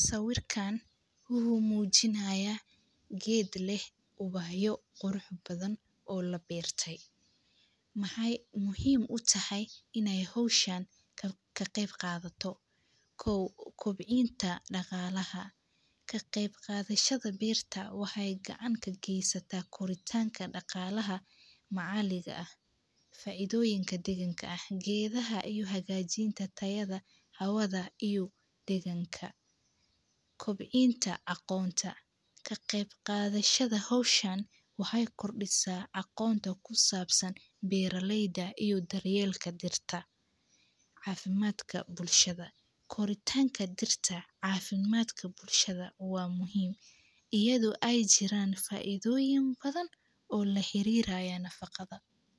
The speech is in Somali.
Sawirkan waxuu mujinaaya geed leh ubaxyo qurux badan oo la beertay. Maxay muhiim u tahay inay howshan ka qayb qaadato kow kobcinta dhaqalaha ka qaybqaadashada beerta waxay gacan ka geysata korintanka dhaqalaha macaliga ah faidooyinka diginka ah geedaha iyo hagajinta tayada hawada iyo deeganka. Kobcinta aqoonta ka qayb qaadashada howshan waxay kordhisa aqoonta ku sabsan beeraleyda iyo daryeelka dirta cafimaadka bulshada korintanka dirta caafimaadka bulshada waa muhiim iyado ay jiran faidoyin badan oo laxariraayo nafaqada.